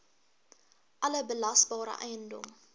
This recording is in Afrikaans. alle belasbare eiendom